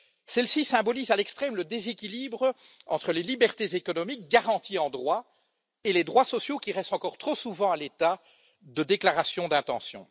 Celle ci symbolise à l'extrême le déséquilibre entre les libertés économiques garanties en droit et les droits sociaux qui restent encore trop souvent à l'état de déclarations d'intention.